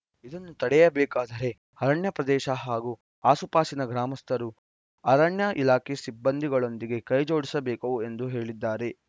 ಇದನ್ನು ತಡೆಯಬೇಕಾದರೆ ಅರಣ್ಯ ಪ್ರದೇಶ ಹಾಗೂ ಆಸುಪಾಸಿನ ಗ್ರಾಮಸ್ಥರು ಅರಣ್ಯ ಇಲಾಖೆ ಸಿಬ್ಬಂದಿಗಳೊಂದಿಗೆ ಕೈ ಜೋಡಿಸಬೇಕು ಎಂದೂ ಹೇಳಿದ್ದಾರೆ